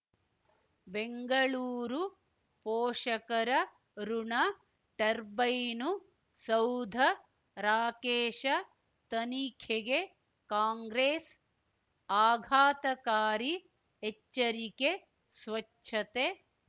ಬೆಂಗಳೂರು ಪೋಷಕರಋಣ ಟರ್ಬೈನು ಸೌಧ ರಾಕೇಶ ತನಿಖೆಗೆ ಕಾಂಗ್ರೆಸ್ ಆಘಾತಕಾರಿ ಎಚ್ಚರಿಕೆ ಸ್ವಚ್ಛತೆ